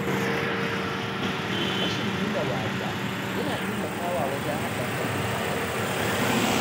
Rashin nuna wariya yana taimakawa wajen haɗa kan mutanen unguwa.